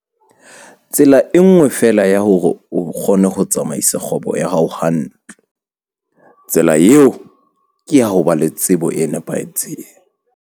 Tsela e nngwe feela ya hore wena o kgone ho tsamaisa kgwebo ya hao hantle- Tsela eo ke ya ho ba le tsebo e nepahetseng.